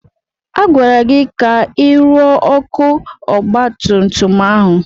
Agwara gị ka ị rụọ ọkụ ọgbatumtum ahụ!